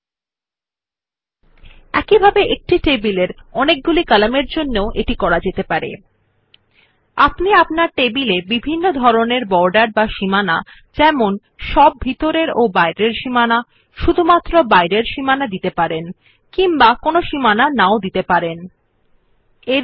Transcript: আপনি টেবিলে বিভিন্ন ধরনের বর্ডার দিতে পারেন কোনো বর্ডার নেই আপনার টেবিল ইত্যাদি সমস্ত ভিতরের এবং বাইরের সীমানা অথবাশুধুমাত্র বহিঃস্থ সীমানা থাকার জন্য আপনি আপনার টেবিল জন্য সীমান্তের বিভিন্ন ধরণের সেট করতে পারবেনYou can set different kinds of borders for your table from having no borders at all to having all inner and outer borders or only outer borders in your table etc